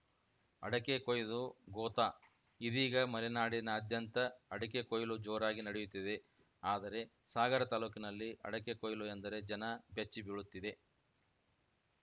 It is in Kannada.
ಅಡಕೆ ಕೊಯ್ದು ಗೋತಾ ಇದೀಗ ಮಲೆನಾಡಿನಾದ್ಯಂತ ಅಡಕೆ ಕೊಯ್ಲು ಜೋರಾಗಿ ನಡೆಯುತ್ತಿದೆ ಆದರೆ ಸಾಗರ ತಾಲೂಕಿನಲ್ಲಿ ಅಡಕೆ ಕೊಯ್ಲು ಎಂದರೆ ಜನ ಬೆಚ್ಚಿ ಬೀಳುತ್ತಿದೆ